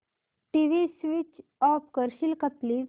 TV switch off करशील का please